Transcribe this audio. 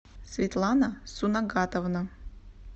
светлана сунагатовна